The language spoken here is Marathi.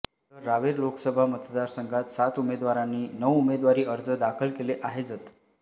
तर रावेर लोकसभा मतदारसंघात सात उमेदवारांनी नऊ उमेदवारी अर्ज दाखल केले आहेजत